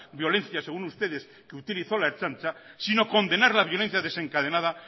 violencia según ustedes que utilizó la ertzaintza sino condenar la violencia desencadenada